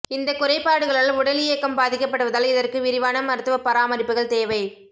இந்தக் குறைபாடுகளால் உடலியக்கம் பாதிக்கப்படுவதால் இதற்கு விரிவான மருத்துவப் பராமரிப்புகள் தேவைப்